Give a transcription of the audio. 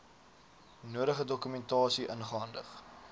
nodige dokumentasie ingehandig